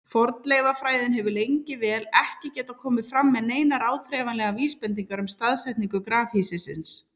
Fornleifafræðin hefur lengi vel ekki getað komið fram með neinar áþreifanlegar vísbendingar um staðsetningu grafhýsisins.